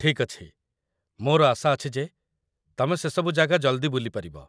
ଠିକ୍ ଅଛି, ମୋର ଆଶା ଅଛି ଯେ ତମେ ସେ ସବୁ ଜାଗା ଜଲ୍‌ଦି ବୁଲିପାରିବ ।